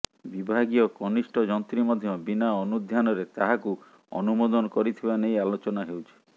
ବିଭାଗୀୟ କନିଷ୍ଠ ଯନ୍ତ୍ରୀ ମଧ୍ୟ ବିନା ଅନୁଧ୍ୟାନରେ ତାହାକୁ ଅନୁମୋଦନ କରିଥିବା ନେଇ ଆଲୋଚନା ହେଉଛି